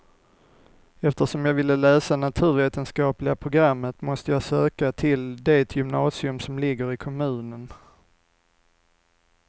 Eftersom jag ville läsa naturvetenskapliga programmet måste jag söka till det gymnasium som ligger i kommunen.